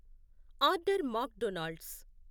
order mock Donald's